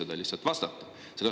Te lihtsalt ei julgenud vastata.